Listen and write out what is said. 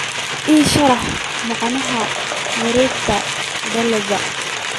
ii sharax macnaha wareegtada dalagga